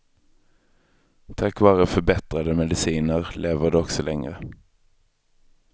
Tack vare förbättrade mediciner lever de också längre.